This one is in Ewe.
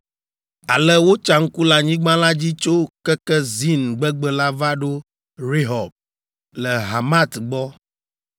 Ale wotsa ŋku le anyigba la dzi tso keke Zin gbegbe la va ɖo Rehob, le Hamat gbɔ.